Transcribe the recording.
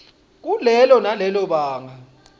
kulelo nalelo banga